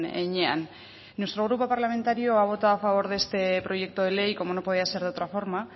heinean nuestro grupo parlamentario ha votado a favor de este proyecto de ley como no podía ser de otra forma